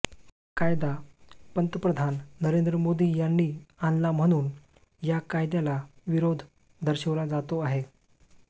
कायदा पंतप्रधान नरेंध्र मोदी यांनी आणला म्हणून या कायद्याला विरोध दर्शवला जातो आहे